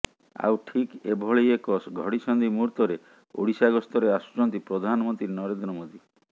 ଆଉ ଠିକ୍ ଏଭଳି ଏକ ଘଡିସନ୍ଧି ମୂହୁର୍ତରେ ଓଡ଼ିଶା ଗସ୍ତରେ ଆସୁଛନ୍ତି ପ୍ରଧାନମନ୍ତ୍ରୀ ନରେନ୍ଦ୍ର ମୋଦି